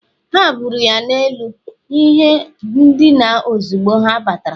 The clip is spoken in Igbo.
ha buuru ya n’elu ihe ndina ozugbo ha batara.